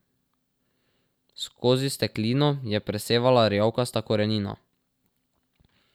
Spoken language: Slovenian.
Skozi sklenino je presevala rjavkasta korenina.